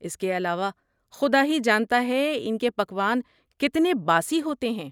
اس کے علاوہ، خدا ہی جانتا ہے ان کےپکوان کتنے باسی ہوتے ہیں۔